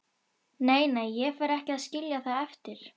Nei, nei, ég fer ekki að skilja það eftir.